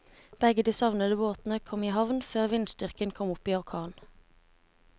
Begge de savnede båtene kom i havn før vindstyrken kom opp i orkan.